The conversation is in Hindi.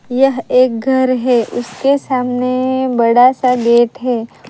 यह एक घर है उसके सामने बड़ा सा गेट है।